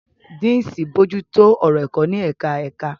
Deans ń bójú tó ọ̀rọ̀ ẹ̀kọ́ ní ẹ̀ka ẹ̀ka.